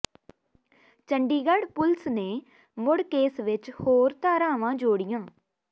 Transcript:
Chandigarh police ਨੇ ਮੁੜ case ਵਿੱਚ ਹੋਰ ਧਾਰਾਵਾਂ ਜੋੜੀਆਂ